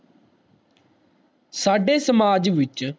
ਸਾਡੇ ਸਮਾਜ ਵਿਚ